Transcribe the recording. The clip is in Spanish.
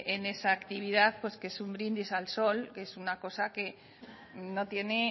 en esa actividad pues que es un brindis al sol que es una cosa que no tiene